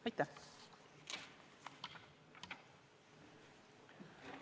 Aitäh!